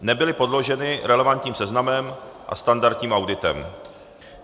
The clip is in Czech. Nebyly podloženy relevantním seznamem a standardním auditem.